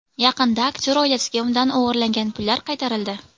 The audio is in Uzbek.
Yaqinda aktyor oilasiga undan o‘g‘irlangan pullar qaytarildi.